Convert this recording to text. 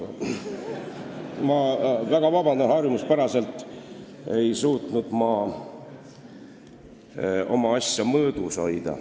Ma palun väga vabandust, harjumuspäraselt ei suutnud ma oma asja mõõdus hoida.